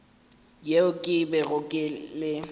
yeo ke bego ke le